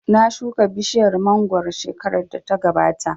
Na shuka bishiyar mangoro shekarar da ta gabata